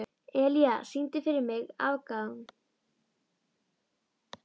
Elía, syngdu fyrir mig „Afgan“.